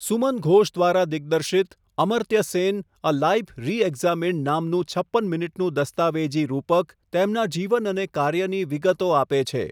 સુમન ઘોષ દ્વારા દિગ્દર્શિત 'Amartya Sen a life reexamined' નામનું છપ્પન મિનિટનું દસ્તાવેજી રૂપક, તેમના જીવન અને કાર્યની વિગતો આપે છે.